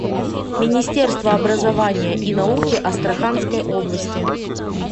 министерство образования и науки астраханской области